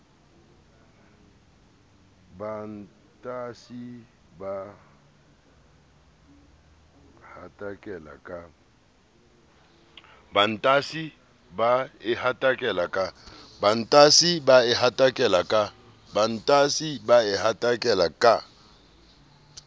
batantshi ba e hatakela ka